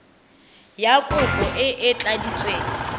ya kopo e e tladitsweng